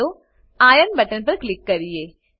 ચાલો ઇરોન બટન પર ક્લિક કરીએ